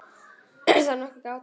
Er þá nokkur gáta?